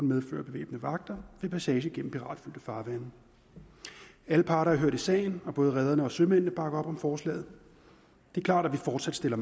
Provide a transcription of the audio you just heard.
medføre bevæbnede vagter ved passage af piratfyldte farvande alle parter er hørt i sagen og både rederne og sømændene bakker op om forslaget det er klart at vi fortsat stiller